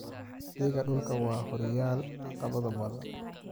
Adeegga dhulka waxaa horyaala caqabado badan.